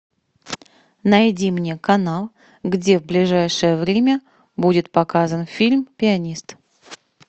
найди мне канал где в ближайшее время будет показан фильм пианист